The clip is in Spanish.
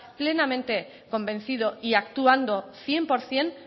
plenamente convencido y actuando cien por ciento